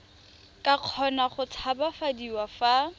ka kgona go tshabafadiwa fa